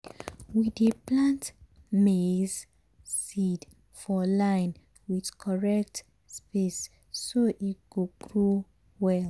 we dey plant maize seed for line with correct space so e go grow well.